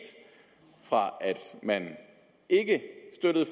fra at man ikke støttede